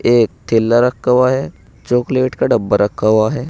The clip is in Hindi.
एक थैला रखा हुआ है चाकलेट का डब्बा रखा हुआ है।